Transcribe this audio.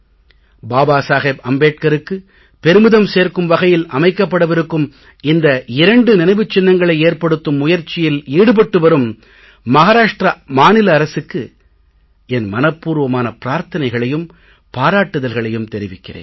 பாபா சாஹேப் அம்பேட்கருக்கு பெருமிதம் சேர்க்கும் வகையில் அமைக்கப்படவிருக்கும் இந்த இரண்டு நினைவுச் சின்னங்களை ஏற்படுத்தும் முயற்சியில் ஈடுபட்டு வரும் மஹாராஷ்ட்ர மாநில அரசுக்கு என் மனப் பூர்வமான பிரார்த்தனைகளையும் பாராட்டுதல்களையும் தெரிவிக்கிறேன்